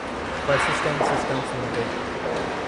persistent systems limited